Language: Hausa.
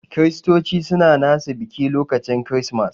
Kiristoci suna nasu biki lokacin kiristimas.